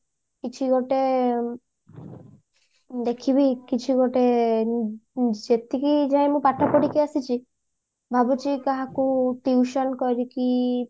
କିଛି ଗୋଟେ ଦେଖିବୀ କିଛି ଗୋଟେ ଯେତିକି ଯାହା ମୁଁ ପାଠ ପଢିକି ଆସିଛି ଭାବୁଛି କାହାକୁ tuition କରିକି